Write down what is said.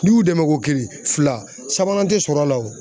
N'i y'u dɛmɛ ko kelen fila sabanan te sɔrɔ la o